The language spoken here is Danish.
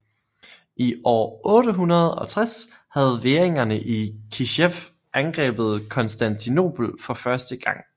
I år 860 havde væringerne i Kijev angrebet Konstantinopel for første gang